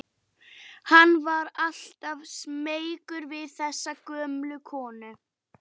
Hann var alltaf smeykur við þessa gömlu konu.